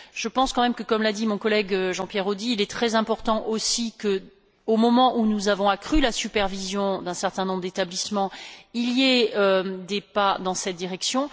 Je pense quand même que, comme l'a dit mon collègue Jean Pierre Audy, il est très important aussi que, au moment où nous avons accru la supervision d'un certain nombre d'établissements, des pas soient faits dans cette direction.